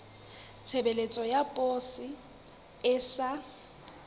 tshebeletso ya poso e sa